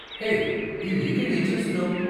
Hey, ఈ weekend ఏం చేస్తున్నావ్?